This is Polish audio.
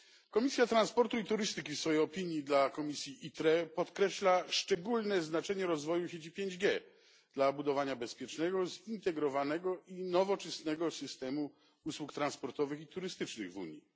Komisja Transportu i Turystyki w swojej opinii dla komisji ITRE podkreśla szczególne znaczenie rozwoju sieci 5G dla budowania bezpiecznego, zintegrowanego i nowoczesnego systemu usług transportowych i turystycznych w Unii.